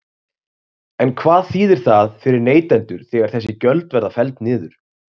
En hvað þýðir það fyrir neytendur þegar þessi gjöld verða felld niður?